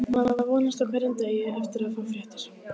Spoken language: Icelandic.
Maður vonast á hverjum degi eftir að fá fréttir.